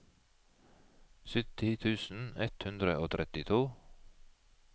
sytti tusen ett hundre og trettito